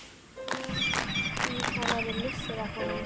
Því það væri missir af honum.